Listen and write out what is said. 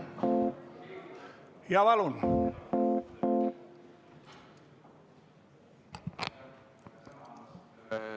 Jaa, palun!